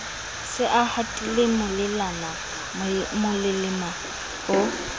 se a hatile molelema o